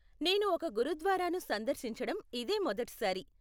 నేను ఒక గురుద్వారాను సందర్శించడం ఇదే మొదటిసారి.